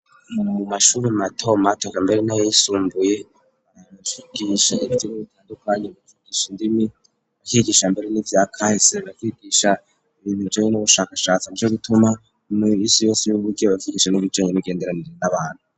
Mumashuri mato mato mbere n,ayisumbuye barigisha ibintu bitandukanye ikigisha indimi bakigisha mbere n'ivya kahise kwigisha ibintu bijanye n'ubushakashatsi nico gituma muminsi yose y'ubugene babivyigisha nuburyo bw,imigenderanire n'abantu